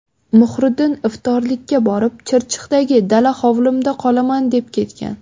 Muhriddin iftorlikka borib, ‘Chirchiqdagi dala hovlimda qolaman’ deb ketgan.